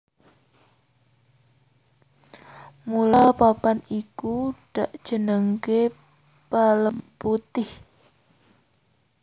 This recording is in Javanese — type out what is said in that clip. Mula papan iku dakjenengake Pelemputih